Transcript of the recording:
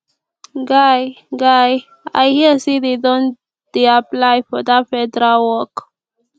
guy guy i hear say dey don dey apply for dat federal work